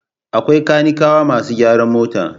Akwai kanikawa masu gyaran mota.